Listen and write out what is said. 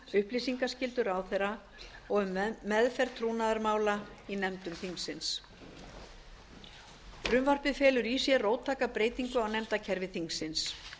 upplýsingaskyldu ráðherra og meðferð trúnaðarmála í nefndum þingsins frumvarpið felur í sér róttæka breytingu á nefndakerfi þingsins